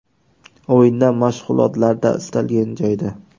O‘yinda, mashg‘ulotlarda istalgan joyda.